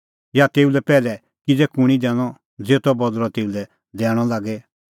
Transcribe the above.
या तेऊ लै पैहलै किज़ै कुंणी दैनअ ज़ेतो बदल़अ तेऊ लै दैणअ लागे